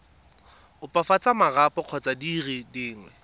opafatsa marapo kgotsa dire dingwe